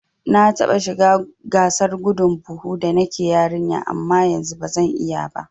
Na taɓa shiga gasar gudun buhu da nake yarinya amma yanzu bazan iya ba